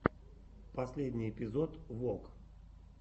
последний эпизод вог